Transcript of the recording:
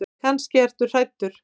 Kannski ertu hræddur.